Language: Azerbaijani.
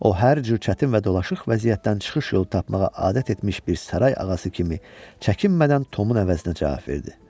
O hər cür çətin və dolaşıq vəziyyətdən çıxış yolu tapmağa adət etmiş bir saray ağası kimi çəkinmədən Tomun əvəzinə cavab verdi.